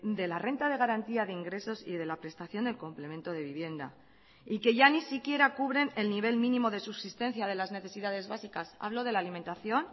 de la renta de garantía de ingresos y de la prestación del complemento de vivienda y que ya ni siquiera cubren el nivel mínimo de subsistencia de las necesidades básicas hablo de la alimentación